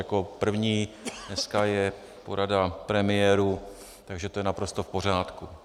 Jako první dneska je porada premiérů, takže to je naprosto v pořádku.